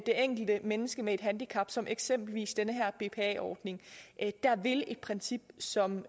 enkelte menneske med handicap som eksempelvis den her bpa ordning vil et princip som